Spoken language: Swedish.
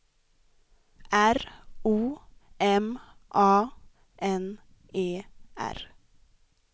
R O M A N E R